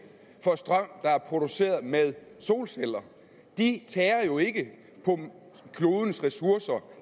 for strøm der er produceret med solceller de tærer jo ikke på klodens ressourcer